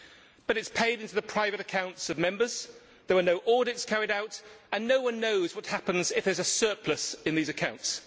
However, it is paid into the private accounts of Members, there are no audits carried out and no one knows what happens if there is a surplus in those accounts.